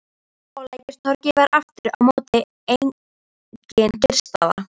Á Lækjartorgi var aftur á móti engin kyrrstaða.